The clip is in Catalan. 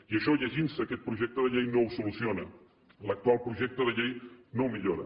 i això llegint se aquest projecte de llei no ho soluciona l’actual projecte de llei no ho millora